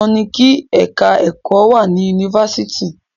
Dandan ni kí ẹ̀ka ẹ̀kọ́ wà ní Yunifásitì.